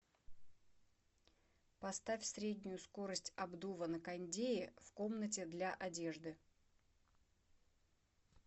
поставь среднюю скорость обдува на кондее в комнате для одежды